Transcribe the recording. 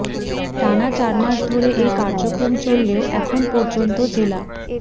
টানা চার মাস ধরে এ কার্যক্রম চললেও এখন পর্যন্ত জেলা